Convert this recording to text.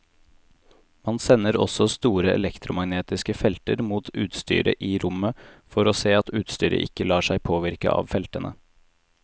Man sender også store elektromagnetiske felter mot utstyret i rommet for å se at utstyret ikke lar seg påvirke av feltene.